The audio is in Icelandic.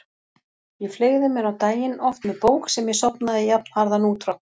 Ég fleygði mér á daginn, oft með bók sem ég sofnaði jafnharðan út frá.